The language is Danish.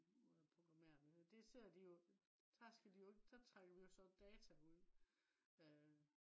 måde at programmere det ser de jo der skal de jo ikke der trækker vi jo så data ud øh